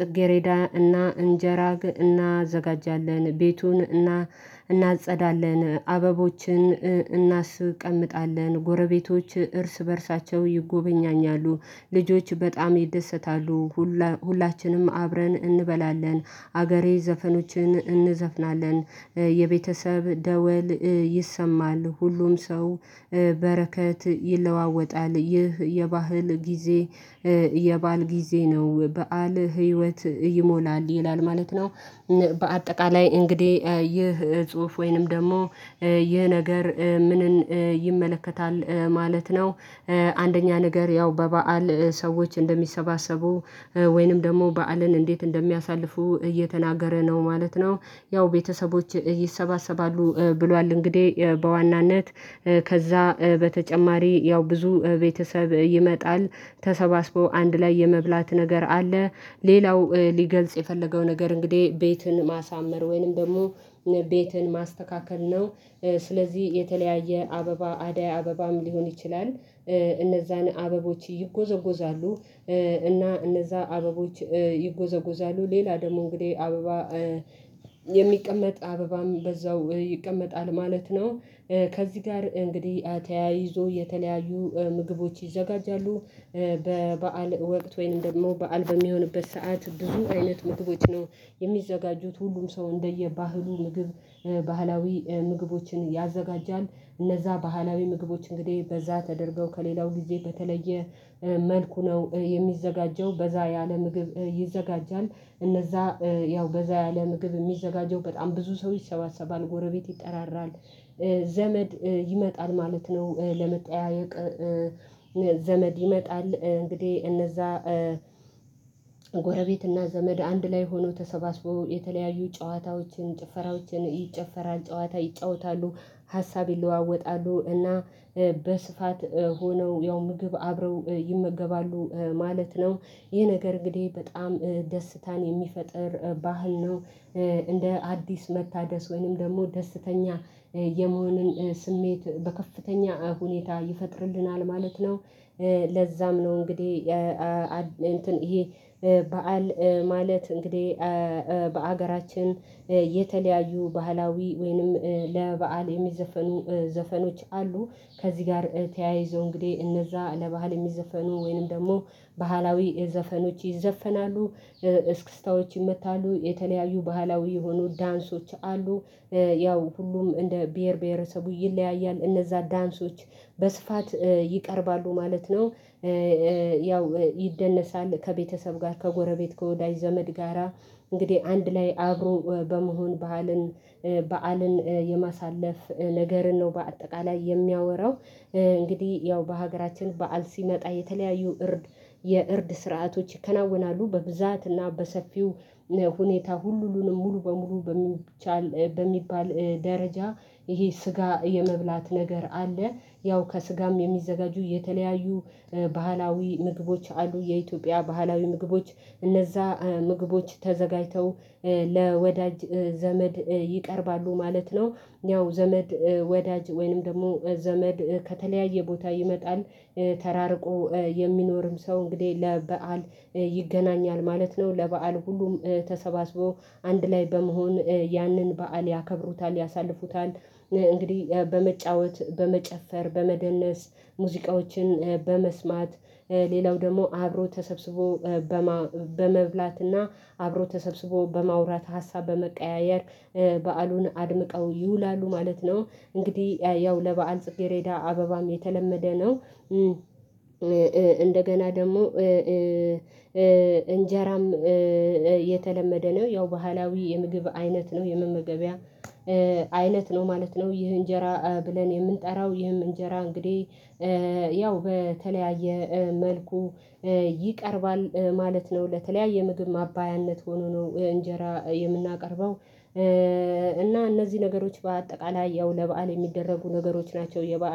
ጽጌሬዳ እና እንጀራ እናዘጋጃለን ቤቱን እና እናጸዳለን አበቦችን እናስቀምጣለን ጎረቤቶች እርስ በእርሳቸው ይጎበኛኛሉ። ልጆች በጣም ይደሰታሉ። ሁላችንም አብረን እንበላለን አገሬ ዘፈኖችን እንዘፍናለን የቤተሰብ ደወል ይሰማል ሁሉም ሰው በረከት ይለዋወጣል ይህ የባህል ጊዜ። የበአል ጊዜ ነው በዓል ህይወት ይሞላል ይላል ማለት ነው። በአጠቃላይ እንግዲህ ይህ ጽሁፍ ወይንም ደግሞ ይህ ነገር ምንን ይመለከታል ማለት ነው። አንደኛ ነገር ያው በበዓል ሰዎች እንደሚሰባሰቡ ወይንም ደግሞ በዓልን እንዴት እንደሚያሳልፉ እየተናገረ ነው ማለት ነው። ያው ቤተሰቦች ይሰባሰባሉ ብሏል እንግዲህ በዋናነት ከዛ በተጨማሪ ያው ብዙ ቤተሰብ ይመጣል። ተሰባስበው አንድ ላይ የመብላት ነገር አለ። ሌላው ሊገልጽ የፈለገው ነገር እንግዲህ ቤቱን ማሳመር ወይንም ደግሞ ቤትን ማስተካከል ነው። ስለዚህ የተለያየ አበባ አደይ አበባም ሊሆን ይችላል። እነዛን አበቦች ይጎዘጎዛሉ። እና እነዛ አበቦች ይጎዘጎዛሉ ሌላ ደግሞ እንግዲህ አበባ የሚቀመጥ አበባም በዛው ይቀመጣል ማለት ነው። ከዚህ ጋር እንግዲህ ተያይዞ የተለያዩ ምግቦች ይዘጋጃሉ። በበዓል ወቅት ወይም ደግሞ በዓል በሚሆንበት ሰዓት ብዙ አይነት ምግቦች ነው የሚዘጋጁት ሁሉም ሰው እንደየ ባህሉ ምግብ ባህላዊ ምግቦችን ያዘጋጃል። እነዛ ባህላዊ ምግቦች እንግዲህ በዛ ተደርገው ከሌላው ጊዜ በተለየ መልኩ ነው የሚዘጋጀው በዛ ያለ ምግብ ይዘጋጃል እነዛ ያው በዛ ያለ ምግብ የሚዘጋጀው በጣም ብዙ ሰዎች ይሰባሰባል ጎረቤት ይጠራራል። ዘመድ ይመጣል ማለት ነው ለመጠያየቅ። ዘመድ ይመጣል እንግዲህ እነዛ ጎረቤትና ዘመድ አንድ ላይ ሆኖ ተሰባስቦ የተለያዩ ጨዋታዎችን ጭፈራዎችን ይጨፈራል ጨዋታ ይጫወታሉ። ሀሳብ ይለዋወጣሉ እና በስፋት ሆነው ያው ምግብ አብረው ይመገባሉ ማለት ነው። ይህ ነገር እንግዲህ በጣም ደስታን የሚፈጥር ባህል ነው። እንደ አዲስ መታደስ ወይንም ደግሞ ደስተኛ የመሆንን ስሜት በከፍተኛ ሁኔታ ይፈጥርልናል ማለት ነው። ለዛም ነው እንግዲህ ይሄ በዓል ማለት እንግዲህ በሀገራችን የተለያየ ባህላዊ ወይንም ለበአል የሚዘፈኑ ዘፈኖች አሉ። ከዚህ ጋር ተያይዞ እንግዲህ እነዛ ለባህል የሚዘፈኑ ወይንም ደግሞ ባህላዊ ዘፈኖች ይዘፈናሉ። እስክስታዎች ይመታሉ የተለያዩ ባህላዊ የሆኑ ዳንሶች አሉ። ያው ሁሉም እንደ ብሄር ብሄረሰቡ ይለያያል እነዛ ዳንሶች በስፋት ይቀርባሉ ማለት ነው። ያው ይደነሳል ከቤተሰብ ጋር ከጎረቤት ከወዳጅ ዘመድ ጋራ እንግዲህ አንድ ላይ አብሮ በመሆን ባህልን በዓልን የማሳለፍ ነገርን ነው በአጠቃላይ የሚያወራው። እንግዲህ ያው በሀገራችን በዓል ሲመጣ የተለያዩ እርድ የእርድ ስርዓቶች ይከናወናሉ በብዛት እና በሰፊው ሁኔታ ሁሉንም ሙሉ በሙሉ በሚቻል በሚባል ደረጃ ይሄ ስጋ የመብላት ነገር አለ። ያው ከስጋም የሚዘጋጁ የተለያዩ ባህላዊ ምግቦች አሉ የኢትዮጵያ ባህላዊ ምግቦች እነዛ ምግቦች ተዘጋጅተው ለወዳጅ ዘመድ ይቀርባሉ ማለት ነው። ያው ዘመድ ወዳጅ ወይንም ደግሞ ዘመድ ከተለያየ ቦታ ይመጣል። ተራርቆ የሚኖርም ሰው እንግዲህ ለበአል ይገናኛል ማለት ነው ለበአል ሁሉም ተሰባስቦ አንድ ላይ በመሆን ያንን በዓል ያከብሩታል ያሳልፉታል። እንግዲህ በመጫወት በመጨፈር በመደነስ ሙዚቃዎችን በመስማት ሌላው ደግሞ አብሮ ተሰብስቦ በመብላትና አብሮ ተሰብስቦ በማውራት ሀሳብ በመቀያየር በዓሉን አድምቀው ይውላሉ ማለት ነው። እንግዲህ ያው ለበአል ጽጌሬዳ አበባም የተለመደ ነው። እንደገና ደግሞ እንጀራም የተለመደ ነው ያው ባህላዊ የምግብ አይነት ነው የመመገቢያ አይነት ነው ማለት ነው። ይህ እንጀራ ብለን የምንጠራው ይህም እንጀራ እንግዲህ ያው በተለያየ መልኩ ይቀርባል ማለት ነው። ለተለያየ ምግብ ማባያነት ሆኖ ነው እንጀራ የምናቀርበው። እና እነዚህ ነገሮች በአጠቃላይ ያው ለበአል የሚደረጉ ነገሮች ናቸው የበአል